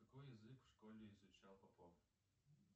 какой язык в школе изучал попов